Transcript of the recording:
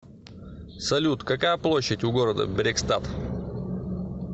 салют какая площадь у города брекстад